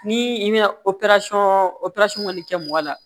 Ni i bɛna operasɔn operasɔn kɔni kɛ mɔgɔ la